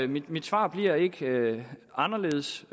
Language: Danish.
mit mit svar bliver ikke anderledes